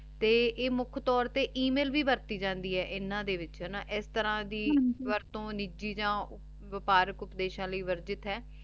ਤੇ ਆਯ ਮੁਖ ਤੋਰ ਤੇ ਏਮਿਲ ਵੀ ਵਰਤੀ ਜਾਂਦੀ ਆਯ ਇਨਾਂ ਦੇ ਵਿਚ ਨਾ ਏਸ ਤਰਹ ਦੀ ਵਰਤੁ ਨਿਜੀ ਜਾਂ ਵਿਪਾਰਕ ਉਪਦੇਸ਼ਾਂ ਲੈ ਵਾਰ੍ਦਿਤ ਹੈ